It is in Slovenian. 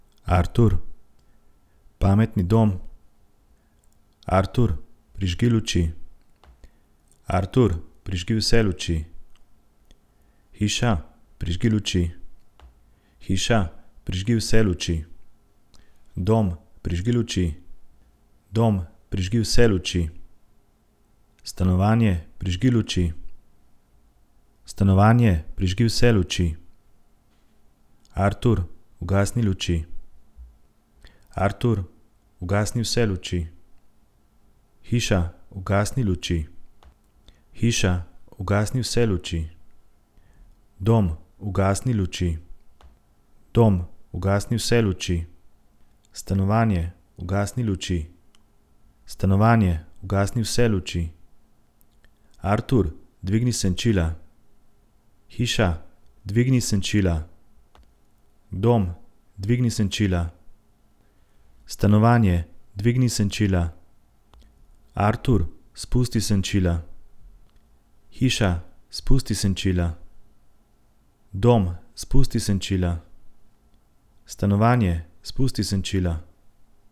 Artur. Pametni dom. Artur, prižgi luči. Artur, prižgi vse luči. Hiša, prižgi luči. Hiša, prižgi vse luči. Dom, prižgi luči. Dom, prižgi vse luči. Stanovanje, prižgi luči. Stanovanje, prižgi vse luči. Artur, ugasni luči. Artur, ugasni vse luči. Hiša, ugasni luči. Hiša, ugasni vse luči. Dom, ugasni luči. Dom, ugasni vse luči. Stanovanje, ugasni luči. Stanovanje, ugasni vse luči. Artur, dvigni senčila. Hiša, dvigni senčila. Dom, dvigni senčila. Stanovanje, dvigni senčila. Artur, spusti senčila. Hiša, spusti senčila. Dom, spusti senčila. Stanovanje, spusti senčila.